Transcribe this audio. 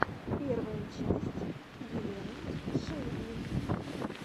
первая часть елены шейдлин